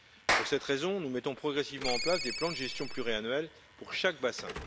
Pour cette raison, nous mettons progressivement en place des plans de gestion pluriannuels pour chaque bassin.